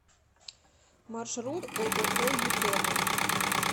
маршрут ооо ютерра